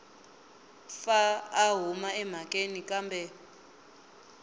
pfa a huma emhakeni kambe